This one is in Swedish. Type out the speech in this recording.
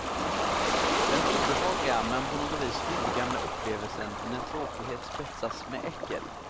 Den obehagliga men på något vis urgamla upplevelsen när tråkighet spetsas med äckel.